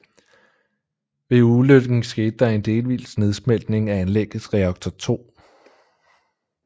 Ved ulykken skete der en delvis nedsmeltning af anlæggets reaktor 2